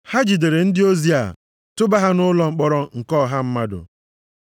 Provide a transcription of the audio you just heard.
Ha jidere ndị ozi a tụba ha nʼụlọ mkpọrọ nke ọha mmadụ.